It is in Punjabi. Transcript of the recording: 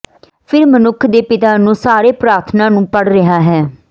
ਫਿਰ ਮਨੁੱਖ ਦੇ ਪਿਤਾ ਨੂੰ ਸਾਰੇ ਪ੍ਰਾਰਥਨਾ ਨੂੰ ਪੜ੍ਹ ਰਿਹਾ ਹੈ